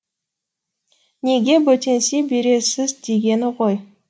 неге бөтенси бересіз дегені ғой